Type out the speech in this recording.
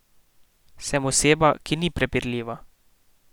Sem oseba, ki ni prepirljiva.